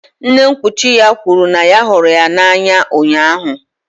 Nne nkwuchi ya kwuru na ya hụrụ ya n'anya ụnyahụ